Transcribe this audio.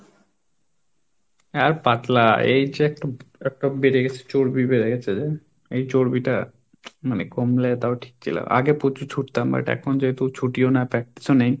আর পাতলা, এই যে একটা একটা বেড়ে গেছে চর্বি বেড়ে গেছে. এই চর্বিটা মানে কমলেও তাও ঠিক ছিল আগে প্রচুর ছুটতাম but এখন যেহেতু ছুটিও না practice ও নেই।